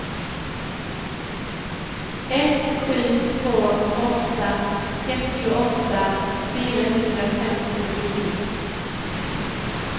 ett sju två åtta trettioåtta fyrahundrafemtionio